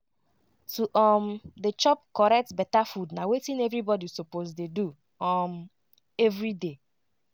to um dey chop correct beta food na wetin everybody suppose dey do um everyday.